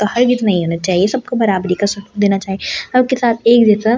हर नहीं होना चाहिए सबको बराबरी का सुकून देना चाहिए सबके साथ एक जैसा--